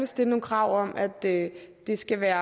stille nogle krav om at det det skal være